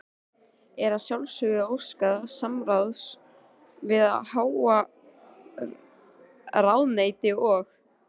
Er að sjálfsögðu óskað samráðs við hið háa ráðuneyti og